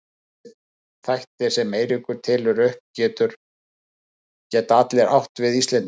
Þessir þættir sem Eiríkur telur upp geta allir átt við Íslendinga.